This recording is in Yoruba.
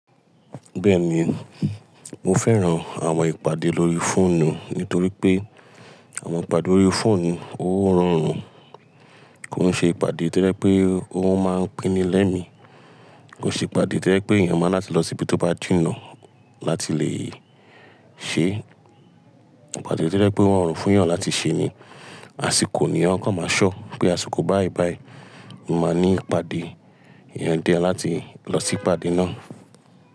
Bẹ́ẹ̀ ni, mo fẹ́ran àwọn ìpàdé lórí fóònù nítorí pé àwọn ìpàdé lórí fóònù, ó rọrùn kon ṣe ìpàdé tojẹ pé ó máa ń pinmi lẹ́mi. Ko ṣe ìpàdé toye pé èèyàn máa láti lọ síbi tó bá jìnnà láti lè ṣe ìpàdé toje pé wọ́n fún èèyàn láti ṣe ni, àsìkò ni wọ́n kan máa ṣọ́ pé àsìkò báí báí máa ní ìpàdé, èèyàn dẹ láti lọ sí ìpàdé náà.